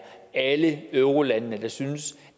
alle eurolandene der synes